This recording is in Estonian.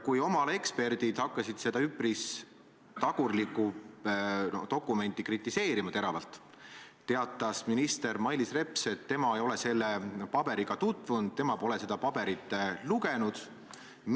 Kui oma ala eksperdid seda üpris tagurlikku dokumenti teravalt kritiseerima hakkasid, teatas minister Mailis Reps, et tema ei ole selle paberiga tutvunud, tema pole seda paberit lugenud.